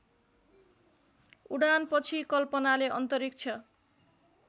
उडानपछि कल्पनाले अन्तरिक्ष